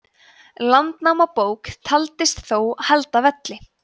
landnámabók taldist þó halda velli